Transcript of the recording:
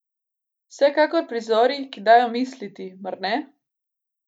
Vsekakor prizori, ki dajo misliti, mar ne?